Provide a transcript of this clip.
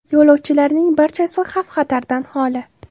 Yo‘lovchilarning barchasi xavf-xatardan holi.